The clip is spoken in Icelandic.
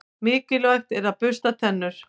Mikilvægt er að bursta tennur.